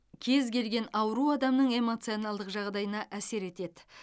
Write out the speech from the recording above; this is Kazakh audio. кез келген ауру адамның эмоционалдық жағдайына әсер етеді